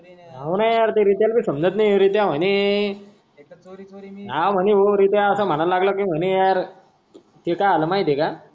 हाव न यार त्या रित्याला भी समजत नाही. रित्या म्हणे काय म्हणे भाऊ रित्या असा म्हणाला लागला म्हणे यार.